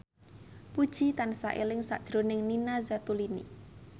Puji tansah eling sakjroning Nina Zatulini